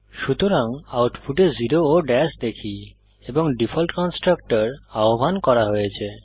সুতরাং আউটপুটে জেরো ও দাশ দেখি এবং ডিফল্ট কন্সট্রাকটর আহ্বান করা হয়েছে